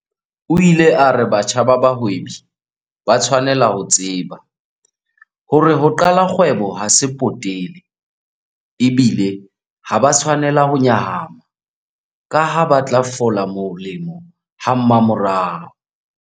O ile a re batjha ba bahwebi ba tshwanela ho tseba hore ho qala kgwebo ha se potele, ebile ha ba a tshwanela ho nyahama kaha ba tla fola molemo hamamorao.